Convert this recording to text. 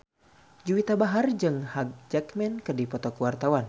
Juwita Bahar jeung Hugh Jackman keur dipoto ku wartawan